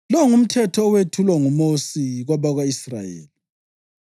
Lo ngumthetho owethulwa nguMosi kwabako-Israyeli.